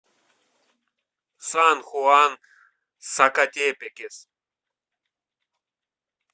сан хуан сакатепекес